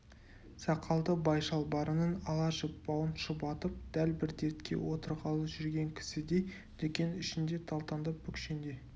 сақалды бай шалбарының ала жіп бауын шұбатып дәл бір дәретке отырғалы жүрген кісідей дүкен ішінде талтаңдап бүкшеңдей